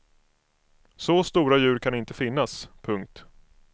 Så stora djur kan inte finnas. punkt